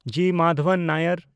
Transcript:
ᱡᱤ. Madhavan ᱱᱟᱭᱟᱨ